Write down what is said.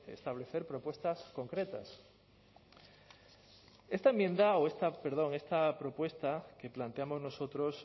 establecer propuestas concretas esta enmienda o esta perdón esta propuesta que planteamos nosotros